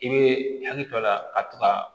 I bɛ hakili to a la ka to ka